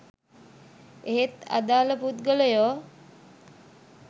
එහෙත් අදාළ පුද්ගලයෝ